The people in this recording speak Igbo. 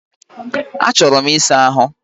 Achọrọ m ịsa ahụ